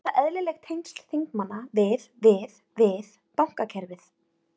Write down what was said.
Eru þetta eðlileg tengsl þingmanna við, við, við bankakerfið?